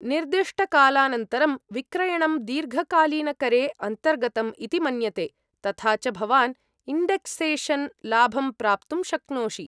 निर्दिष्टकालानन्तरं विक्रयणं दीर्घकालीनकरे अन्तर्गतम् इति मन्यते, तथा च भवान् इण्डेक्सेशन् लाभं प्राप्तुं शक्नोषि।